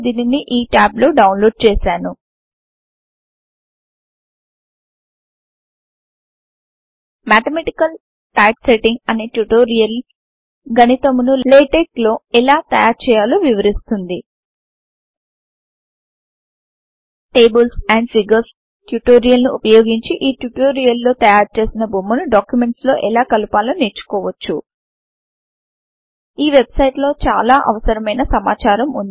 నేను దీనిని ఈ tab లో డౌన్లోడ్ చేశాను మాథమాటికల్ టైప్సెట్టింగ్ అనే ట్యుటోరియల్ గనితమును లాటెక్స్ లో ఎలా తయారు చేయాలో వివరిస్తుంది టేబుల్స్ ఆండ్ ఫిగర్స్ ట్యుటోరియల్ ను వుపయోగించి ఈ ట్యుటోరియల్ లో తయారు చేసిన బొమ్మను డాక్యుమెంట్స్ లో ఎలా కలుపాలో నేర్చుకోవచ్చు ఈ వెబ్సైటు లో చాలా అవసరమైన సమాచారం వుంది